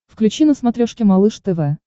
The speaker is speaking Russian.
включи на смотрешке малыш тв